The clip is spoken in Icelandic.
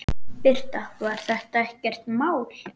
Birta: Var þetta ekkert mál?